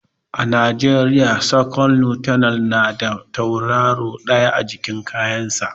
A najeriya second lieutenant na da tauraro ɗaya a jikin kayan sa